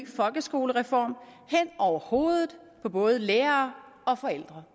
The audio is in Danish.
folkeskolereform hen over hovedet på både lærere og forældre